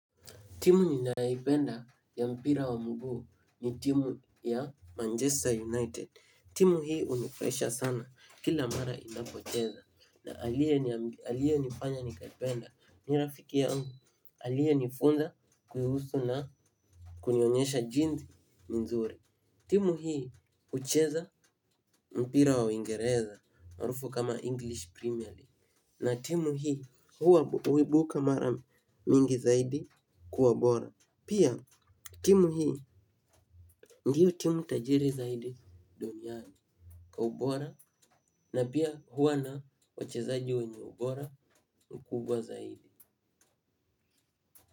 Timu ninaipenda ya mpira wa muguu ni timu ya Manchester United. Timu hii unifraisha sana kila mara inapocheza na alie nifanya nikaipenda ni rafiki yangu alie nifunza kuhusu na kunionyesha jinsi ni nzuri. Timu hii ucheza mpira wa waingereza marufu kama English Premier League na timu hii huwa uibuka mara mingi zaidi kuwa bora. Pia, timu hii, ndio timu tajiri zaidi, duniani, kwa ubora. Na pia huwa na, wachezaji wenye ubora, ukubwa zaidi.